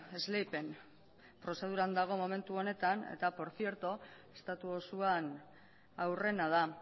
esleipen prozeduran dago momentu honetan eta estatu osoan aurrena da